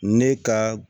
Ne ka